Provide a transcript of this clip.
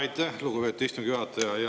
Aitäh, lugupeetud istungi juhataja!